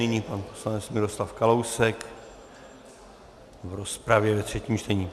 Nyní pan poslanec Miroslav Kalousek v rozpravě ve třetím čtení.